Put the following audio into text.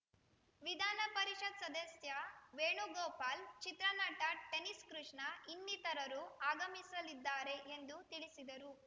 ವಿಧಾನ ಪರಿಷತ್‌ ಸದಸ್ಯ ವೇಣುಗೋಪಾಲ್‌ ಚಿತ್ರ ನಟ ಟೆನಿಸ್‌ ಕೃಷ್ಣ ಇನ್ನಿತರರು ಆಗಮಿಸಲಿದ್ದಾರೆ ಎಂದು ತಿಳಿಸಿದರು